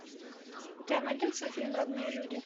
у тебя найдется фильм родные люди